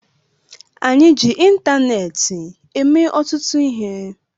Anyị ji ịntaneetị eme ọtụtụ ihe